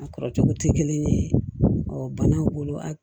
A kɔrɔ cogo te kelen ye banaw bolo a